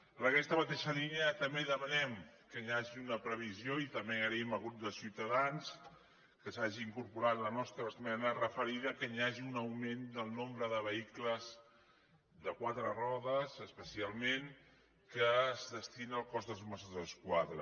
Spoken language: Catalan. en aquesta mateixa línia també demanem que hi hagi una previsió i també agraïm al grup de ciutadans que s’hagi incorporat la nostra esmena referida que hi hagi un augment del nombre de vehicles de quatre rodes especialment que es destina al cos dels mossos d’esquadra